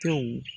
Tew